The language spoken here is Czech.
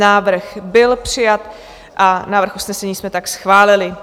Návrh byl přijat a návrh usnesení jsme tak schválili.